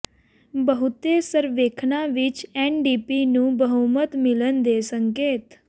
ਬਹੁਤੇ ਸਰਵੇਖਣਾਂ ਵਿੱਚ ਐਨਡੀਪੀ ਨੂੰ ਬਹੁਮਤ ਮਿਲਣ ਦੇ ਸੰਕੇਤ